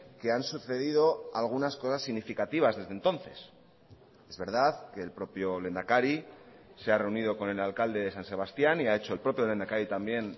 que han sucedido algunas cosas significativas desde entonces es verdad que el propio lehendakari se ha reunido con el alcalde de san sebastián y ha hecho el propio lehendakari también